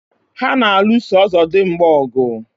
Ha na-alụsọ ọzọdimgba ọgụ.